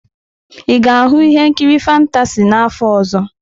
Ị ga-ahụ ihe nkiri fantasy n'afọ ọzọ?